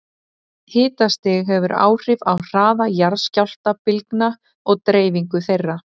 Hitastig hefur áhrif á hraða jarðskjálftabylgna og deyfingu þeirra.